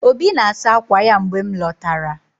Obi na-asa akwa ya mgbe m lọtara.